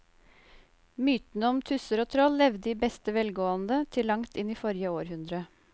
Mytene om tusser og troll levde i beste velgående til langt inn i forrige århundre.